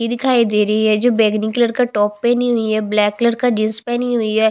लड़की दिखाई दे रही है जो बैगनी कलर का टॉप पेहनी हुई है ब्लैक कलर का जीन्स पहनी हुई है।